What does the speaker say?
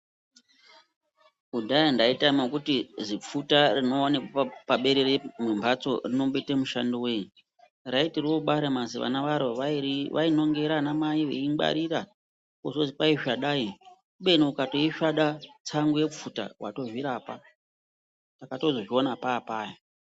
Kudhaya ndaitama kuti zipfuta rinoonekwa paberere mwembatso rinomboita mishando wei raiti robara mazivana varo vairinongera ana mai veingwarira kozozi hai svadai kubeni ukandoisvada tsango yepfuta watozvirapa takatozozviona papaya.